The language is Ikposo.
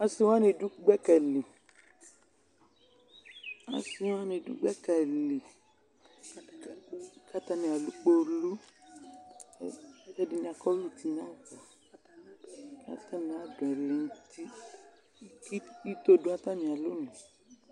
asiwanidʋ gbakali asiwanidʋ gbakali katani alʋ kpolʋ kɛdini akɔvlɛ ʋtinava katani adʋ ɛlɛnʋti ito dʋ atamialɔ nʋ